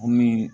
Komi